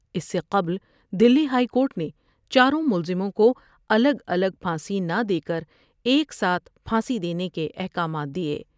اس سے قبل Delhi high court نے چاروں ملزموں کو الگ الگ پھانسی نہ دیکر ایک ساتھ پھانسی دینے کے احکام دۓ ۔